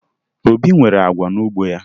Obi nweburu agwa n'ugbo ya